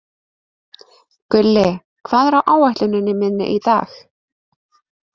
Gulli, hvað er á áætluninni minni í dag?